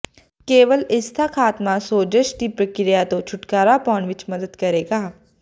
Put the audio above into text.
ਕੇਵਲ ਇਸ ਦਾ ਖਾਤਮਾ ਸੋਜ਼ਸ਼ ਦੀ ਪ੍ਰਕਿਰਿਆ ਤੋਂ ਛੁਟਕਾਰਾ ਪਾਉਣ ਵਿਚ ਮਦਦ ਕਰੇਗਾ